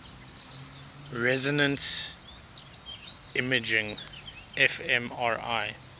resonance imaging fmri